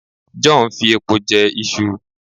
John fi epo je Isu